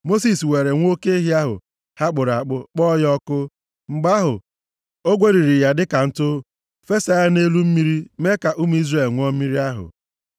Mosis weere nwa oke ehi ahụ ha kpụrụ akpụ, kpọọ ya ọkụ. Mgbe ahụ, o gweriri ya dịka ntụ. Fesaa ya nʼelu mmiri mee ka ụmụ Izrel ṅụọ mmiri ahụ.